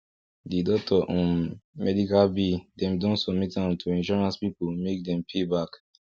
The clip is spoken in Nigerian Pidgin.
the doctor um medical bill dem don submit am to insurance people make dem pay back